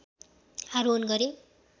आरोहण गरे।